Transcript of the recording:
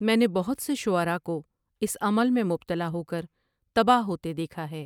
میں نے بہت سے شعرا کو اس عمل میں مبتلا ہو کر تباہ ہوتے دیکھا ہے ۔